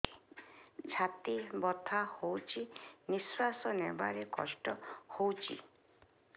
ଛାତି ବଥା ହଉଚି ନିଶ୍ୱାସ ନେବାରେ କଷ୍ଟ ହଉଚି